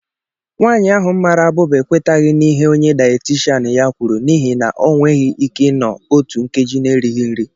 Nwanyị ahụ mara abụba ekwetaghị n'ihe onye dayétịshan ya kwuru, n'ihi na ọ nweghị ike ịnọ otu nkeji na-erighi nri